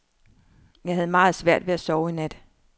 Jeg havde meget svært ved at sove i nat.